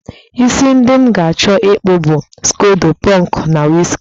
Isi ndị m ga-achọ ịkpụ bụ skodo pọnkụ na wiski